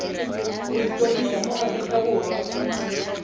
go ikwadisa mo aforika borwa